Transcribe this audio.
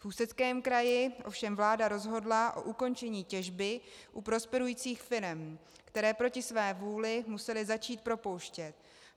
V Ústeckém kraji ovšem vláda rozhodla o ukončení těžby u prosperujících firem, které proti své vůli musely začít propouštět.